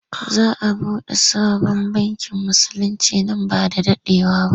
Za a buɗe sabon bankin Musulinci nan ba da daɗewa ba.